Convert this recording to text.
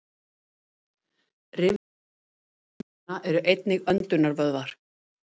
Rifjavöðvar milli rifbeina eru einnig öndunarvöðvar.